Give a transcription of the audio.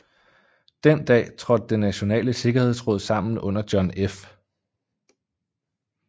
Den dag trådte Det Nationale Sikkerhedsråd sammen under John F